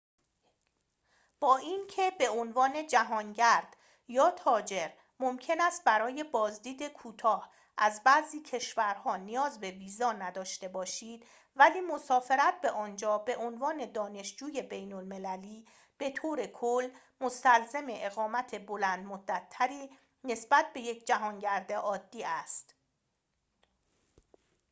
با اینکه به عنوان جهانگرد یا تاجر ممکن است برای بازدید کوتاه از بعضی کشورها نیاز به ویزا نداشته باشید ولی مسافرت به آنجا به عنوان دانشجوی بین‌المللی بطور کل مستلزم اقامت بلندمدت‌تری نسبت به یک جهانگرد عادی است